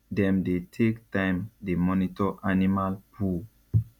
dem dey take time dey monitor animal poo